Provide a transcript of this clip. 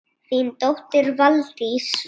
Þín dóttir, Valdís.